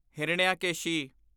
Hiranyakeshi